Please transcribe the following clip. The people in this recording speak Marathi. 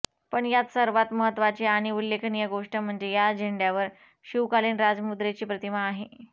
पण यात सर्वांत महत्त्वाची आणि उल्लेखनीय गोष्ट म्हणजे या झेंड्यावर शिवकालीन राजमुद्रेची प्रतिमा आहे